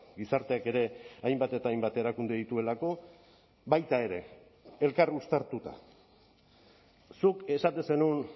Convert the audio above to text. gizarteak ere hainbat eta hainbat erakunde dituelako baita ere elkar uztartuta zuk esaten zenuen